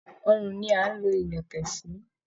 Ọrùn ni à ń lo ilẹ̀kẹ̀ sí